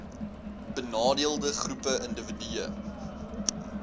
benadeelde groepe indiwidue